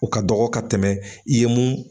O ka dɔgɔ ka tɛmɛ i ye mun